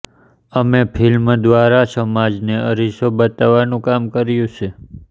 અમે ફિલ્મ દ્વારા સમાજને અરીસો બતાવવાનું કામ કર્યું છે